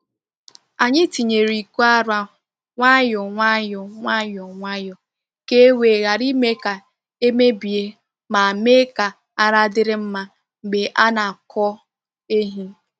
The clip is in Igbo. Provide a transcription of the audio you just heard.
Anyị tinyere iko ara nwayọọ nwayọọ nwayọọ nwayọọ ka e wee ghara ime ka e mebie ma mee ka ara dịrị mma mgbe a na-akwọ ehi.